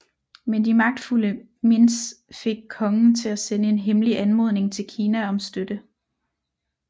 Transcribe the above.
Men de magtfulde Mins fik kongen til at sende en hemmelig anmodning til Kina om støtte